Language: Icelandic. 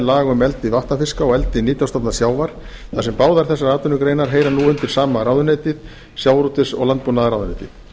laga um eldi vatnafiska og eldi nytjastofna sjávar þar sem báðar þessar atvinnugreinar heyra nú undir sama ráðuneytið sjávarútvegs og landbúnaðarráðuneytið